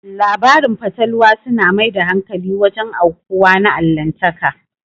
Labarin fatalwa su na mai da hankali wajen aukuwa na Allahntaka